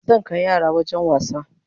Zan kai yara wajen wasa